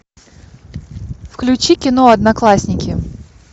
включи кино одноклассники